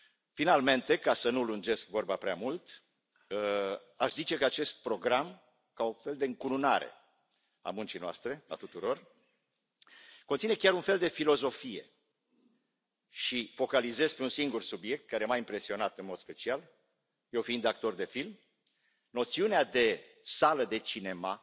Finalmente, ca să nu lungesc vorba prea mult, aș zice că acest program, ca un fel de încununare a muncii noastre, a tuturor, conține chiar un fel de filozofie și focalizez pe un singur subiect care m a impresionat în mod special eu fiind actor de film noțiunea de sală de cinema,